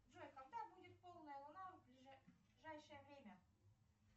джой когда будет полная луна в ближайшее время